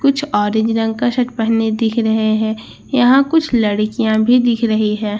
कुछ ऑरेंज रंग का शर्ट पहने दिख रहे हैं यहां कुछ लड़कियां भी दिख रही है।